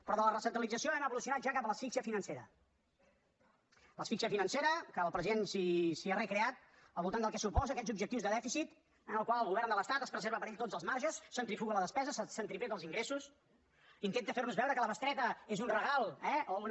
però de la recentralització hem evolucionat ja cap a l’asfíxia financera asfíxia financera que el president s’hi ha recreat al voltant del que suposen aquests objectius de dèficit en els quals el govern de l’estat es preserva per a ell tots els marges centrifuga la despesa centripeta els ingressos intenta fer nos veure que la bestreta és un regal eh o una